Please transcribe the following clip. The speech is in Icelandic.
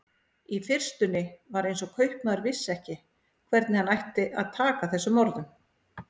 Í fyrstunni var eins og kaupmaður vissi ekki hvernig hann ætti að taka þessum orðum.